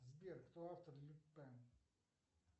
сбер кто автор люпен